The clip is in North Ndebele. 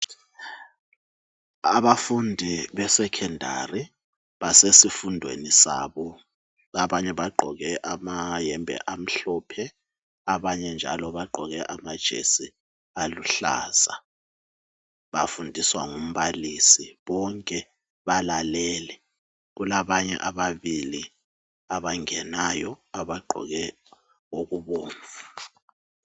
Abafundi besekhondari, basesifundweni sabo. Abanye bagqoke amayembe amhlophe, abanye njalo bagqoke amajesi aluhlaza. Bafundiswa ngumbalisi. Bonke balalele. Kulabanye ababili abangenayo abagqoke okubomvu.